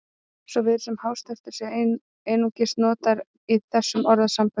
Svo virðist sem hástertur sé einungis notað í þessum orðasamböndum.